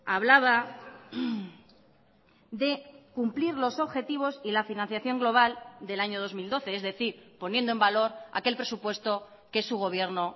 hablaba de cumplir los objetivos y la financiación global del año dos mil doce es decir poniendo en valor aquel presupuesto que su gobierno